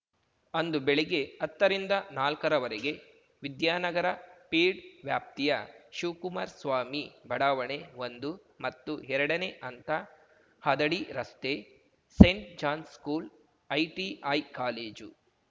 ಅಂದು ಬೆಳಿಗ್ಗೆ ಅತ್ತರಿಂದ ನಾಲ್ಕರವರೆಗೆ ವಿದ್ಯಾನಗರ ಪೀಡ್ ವ್ಯಾಪ್ತಿಯ ಶಿವ್ ಕುಮಾರ್ ಸ್ವಾಮಿ ಬಡಾವಣೆ ಒಂದು ಮತ್ತು ಎರಡನೇ ಹಂತ ಹದಡಿ ರಸ್ತೆ Saint John school ITI college